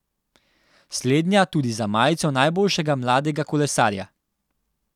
Slednja tudi za majico najboljšega mladega kolesarja.